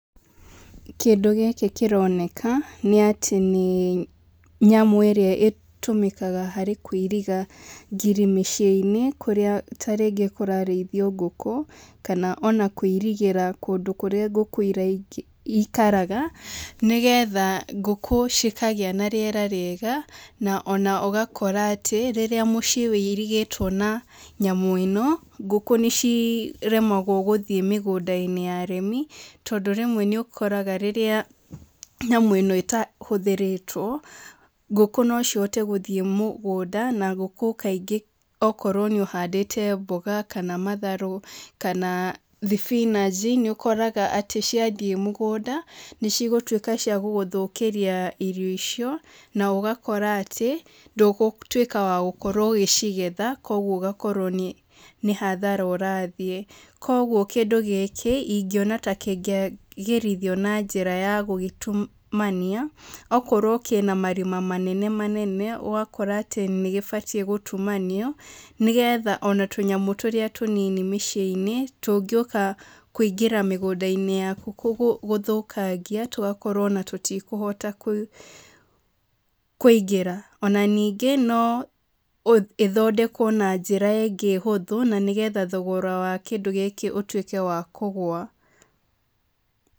Kĩndũ gĩkĩ kĩroneka, nĩ atĩ nĩ nyamũ ĩrĩa ĩtũmĩkaga harĩ kũiriga ngiri mĩciĩnĩ, kũrĩa tarĩngĩ kũrarĩithio ngũkũ, kana ona kũirigĩra kũndũ kũrĩa ngũkũ ĩkaraga, nĩgetha ngũkũ cikagĩa na rĩera rĩega, na ona ũgakora atĩ, rĩrĩa mũciĩ wĩirigĩtwo na nyamũ ĩno, ngũkũ nĩciremagwo gũthiĩ mĩgũndainĩ ya arĩmi, tondũ rĩmwe nĩũkoraga rĩrĩa nyamũ ĩno ĩtahũthĩrĩtwo, ngũkũ no cihote gũthiĩ mũgũnda, na ngũkũ kaingĩ okorwo nĩ ũhandĩte mboga kana matharũ, kana thibinaji, nĩũkoraga atĩ ciathiĩ mũgũnda, nĩcigũtuĩka cia gũgũthũkĩria irio icio, na ũgakora atĩ, ndũgũtuĩka wa gũkorwo ũgĩcigetha koguo ũgakorwo nĩ nĩhathara ũrathiĩ. Koguo kĩndũ gĩkĩ, ingiona ta kĩngĩagĩrithio na njĩra ya gũgĩtumania, okorwo kĩna marima manene manene, ũgakora atĩ nĩgĩbatiĩ gũtumanio, nĩgetha ona tũnyamũ tũrĩa tũnini mĩciĩinĩ, tũngĩũka kũingĩra mĩgũndainĩ yaku gũthũkangia, tũgakorwo ona tũtikũhota kũ kũingĩra. Ona ningĩ, no ũ ĩthondekwo na njĩra ĩngĩ hũthũ, na nĩgetha thogora wa kĩndũ gĩkĩ ũtuĩke wa kũgwa.